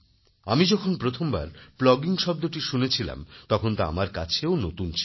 আমি যখন প্রথমবার প্লগিং শব্দটি শুনেছিলাম তখন তা আমার কাছেও নতুন ছিল